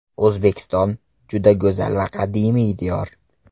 O‘zbekiston juda go‘zal va qadimiy diyor.